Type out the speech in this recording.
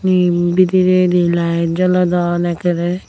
eyen bidiredi light jolodon ekkere.